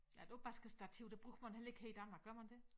Ja et opvaskestativ det bruger man heller ikke her i Danmark gør man det?